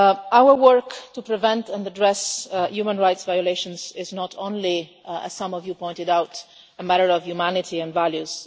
Our work to prevent and address human rights violations is not only as some of you pointed out a matter of humanity and values.